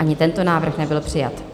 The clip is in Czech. Ani tento návrh nebyl přijat.